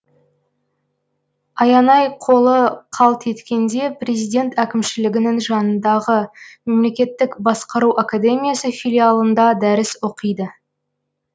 аянай қолы қалт еткенде президент әкімшілігінің жанындағы мемлекеттік басқару академиясы филиалында дәріс оқиды